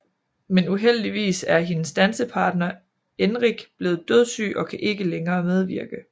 Men uheldigvis er hendes dansepartner Enric blevet dødssyg og kan ikke længere medvirke